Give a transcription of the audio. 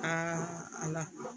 ala